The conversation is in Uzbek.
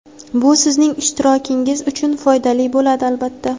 Bu sizning ishtirokingiz uchun foydali bo‘ladi, albatta.